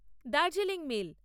Darjeeling mail